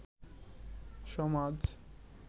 সমাজ